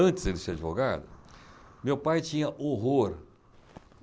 Antes de ele ser advogado, meu pai tinha horror.